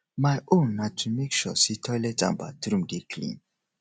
my own na to mek sure say toilet and bathroom dey clean